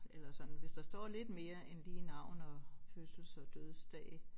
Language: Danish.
Eller sådan hvis der står lidt mere end lige navn og fødsels og dødsdag